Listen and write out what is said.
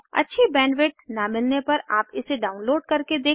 अच्छी बैंडविड्थ न मिलने पर आप इसे डाउनलोड करके देख सकते हैं